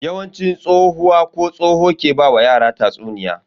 Yawanci tsohuwa ko tsoho ke ba wa yara tatsuniya.